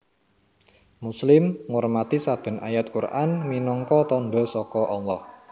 Muslim ngurmati saben ayat Qur an minangka tandha saka Allah